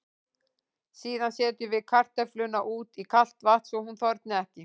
Síðan setjum við kartöfluna út í kalt vatn svo hún þorni ekki.